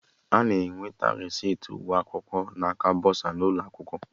Ana enweta resiti ụgwọ akwụkwọ na aka bọsa n'ụlọ akwụkwọ